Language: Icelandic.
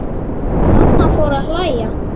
Mamma fór að hlæja.